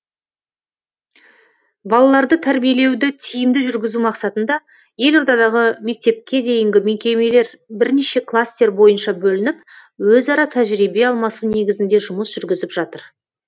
балаларды тәрбиелеуді тиімді жүргізу мақсатында елордадағы мектепке дейінгі мекемелер бірнеше кластер бойынша бөлініп өзара тәжірибе алмасу негізінде жұмыс жүргізіп жатыр